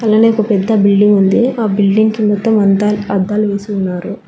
అలానే ఒక పెద్ద బిల్డింగ్ ఉంది ఆ బిల్డింగ్ కింద మంద అద్దాలు వేసి ఉన్నారు.